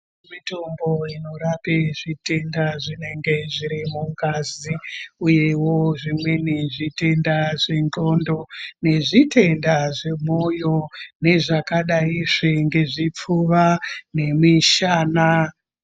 Mitombo inorape zvitenda zvinenge zviri mungazi uyewo zvimweni zvitenda zvenxlondo nezvitenda zvemwoyo, nezvakadaizve ngezvipfuva nemishana.